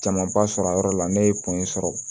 Camanba sɔrɔ a yɔrɔ la ne ye kun in sɔrɔ